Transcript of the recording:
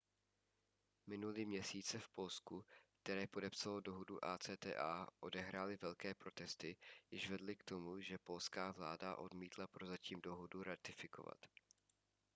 minulý měsíc se v polsku které podepsalo dohodu acta odehrály velké protesty jež vedly k tomu že polská vláda odmítla prozatím dohodu ratifikovat